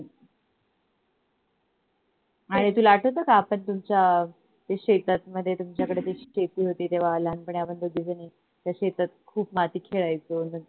तुला आठवत का आपण तुमच्य अह शेतात मध्ये ते तुमच्या कडे शेती होती तेव्हा लहानपणी आपण दोघीजणी त्या शेतात खूप माती खेळायचो.